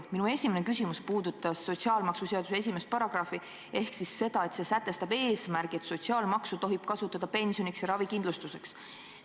Minu esimene küsimus puudutas sotsiaalmaksuseaduse 1. paragrahvi, mis sätestab eesmärgi, et sotsiaalmaksu tohib kasutada pensioniks ja ravikindlustuseks.